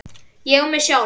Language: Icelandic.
ÉG Á MIG SJÁLF!